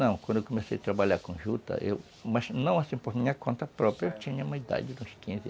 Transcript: Não, quando eu comecei a trabalhar com a juta, eu... Mas não assim por minha conta própria, eu tinha uma idade de uns quinze anos,